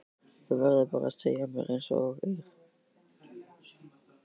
Þú verður bara að segja mér einsog er.